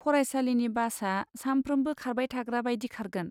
फरायसालिनि बासा सामफ्रोमबो खारबाय थाग्रा बायदि खारगोन।